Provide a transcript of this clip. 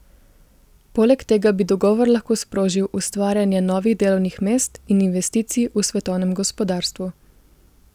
Poleg tega bi dogovor lahko sprožil ustvarjanje novih delovnih mest in investicij v svetovnem gospodarstvu.